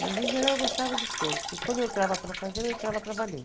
Mas, em geral, eu gostava de todos, porque quando eu entrava para fazer, eu entrava para valer.